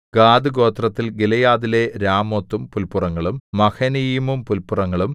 ഗാദ്ഗോത്രത്തിൽ ഗിലെയാദിലെ രാമോത്തും പുല്പുറങ്ങളും മഹനയീമും പുല്പുറങ്ങളും